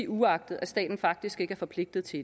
uagtet at staten faktisk ikke er forpligtet til